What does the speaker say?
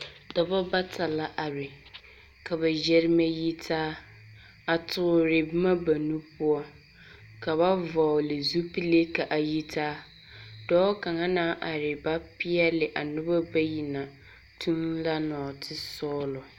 Dɔba bata la are ka ba yɛremɛ yitaa, a toore boma ba nu poɔ. Ka ba vɔgle zupilee ka a yitaa. Dɔɔ kaŋa naŋ are ba peɛle a noba bayi na toŋ la nɔɔtesɔɔlɔ.